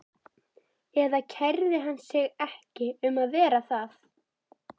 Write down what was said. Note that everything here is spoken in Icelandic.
Eða kærði hann sig ekki um að vera það?